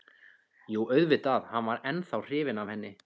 Jú, auðvitað var hann ennþá hrifinn af henni.